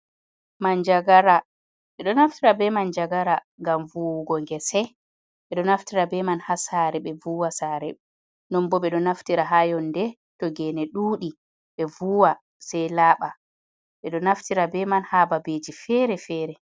Mana gara, ɓedo naftira be man jagara, ngam vuwugo ngese, ɓedo naftira be man ha sare, ɓe vuwa sare non bo ɓedo naftira ha yonde to gene ɗudi ɓe vuwa sei laaɓa ɓedo naftira be man ha babeji fere-fere.